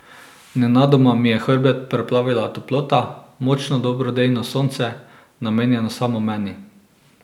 Nenadoma mi je hrbet preplavila toplota, močno dobrodejno sonce, namenjeno samo meni.